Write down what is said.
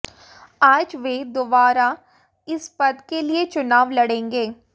आज वे दोबारा इस पद के लिए चुनाव लड़ेंगे